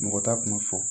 Mɔgɔ t'a kuma fɔ